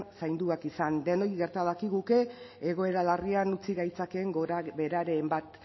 zainduak izan denoi gerta dakiguke egoera larrian utzi gaitzakeen gorabeheraren bat